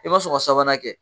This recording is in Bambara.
I ma sɔn ka sabanan kɛ